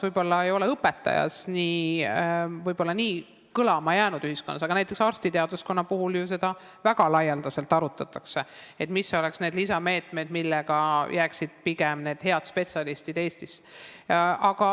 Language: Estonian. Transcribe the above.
Võib-olla ei ole õpetajate teema ühiskonnas nii kõlama jäänud, aga näiteks arstiteaduskonna puhul ju väga laialdaselt arutatakse, mis oleksid need lisameetmed, et need head spetsialistid jääksid pigem Eestisse.